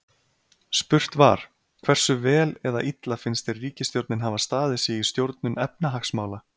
Spurt var: Hversu vel eða illa finnst þér ríkisstjórnin hafa staðið sig í stjórnun efnahagsmála?